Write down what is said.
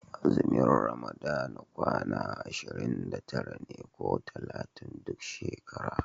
Azumin ramadana kwana ashirin da tara ne ko talatin duk shekara.